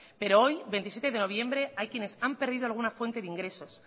pero hoy veintisiete de noviembre hay quienes han perdido alguna fuente de ingresos